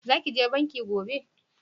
Za ki je banki gobe?